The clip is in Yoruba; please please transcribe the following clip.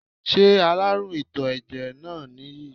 Ṣé aláàrùn ìtò ẹ̀jẹ̀ náà nìyí?